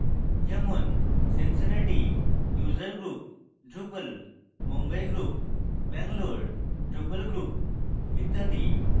যেমন cincinnati user group drupal mumbai group bangalore drupal group ইত্যাদি